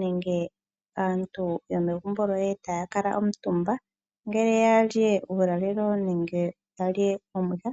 nenge aantu yomegumbo lyoye taya kutumba ngele tayali uulalelo nenge tayali omwiha